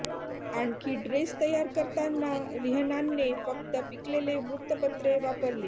आणखी ड्रेस तयार करताना रिहन्नाने फक्त पिकलेले वृत्तपत्रे वापरली